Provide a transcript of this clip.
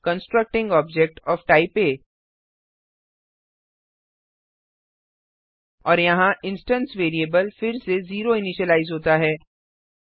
constructing object O F type ah और यहाँ instance variable फिर से 0 इनिशिलाइज होता है